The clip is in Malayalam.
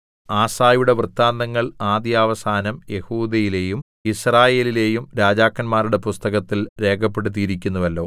ആസയുടെ വൃത്താന്തങ്ങൾ ആദ്യവസാനം യെഹൂദയിലെയും യിസ്രായേലിലെയും രാജാക്കന്മാരുടെ പുസ്തകങ്ങളിൽ രേഖപ്പെടുത്തിയിരിക്കുന്നുവല്ലോ